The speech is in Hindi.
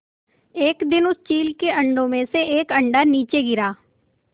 एक दिन उस चील के अंडों में से एक अंडा नीचे गिरा